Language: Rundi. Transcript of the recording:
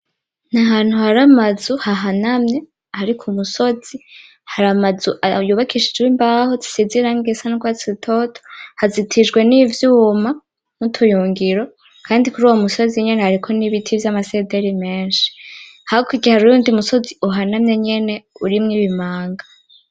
Ni ahantu hari amazu hahanamye hari ku musozi. Hari amazu yubakishijwe imbaho zisize irangi risa n'urwatsi rutoto hazitijwe n'ivyuma n'utuyungiro, kandi kuruwo musozi nyene hariko n'ibiti vy'amasederi menshi, hakurya hariho uwundi musozi uhanamye nyene urimwo ibimanga.